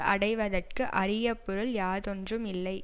அடைவதற்கு அரிய பொருள் யாதொன்றும் இல்லை